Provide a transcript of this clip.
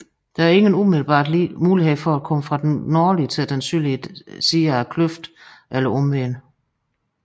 Der er ingen umiddelbar mulighed for at komme fra den nordlige til den sydlige side af kløften eller omvendt